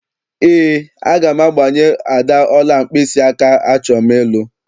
Eé, aga m agbanye Ada ọla mkpịsịaka achọm ịlụ.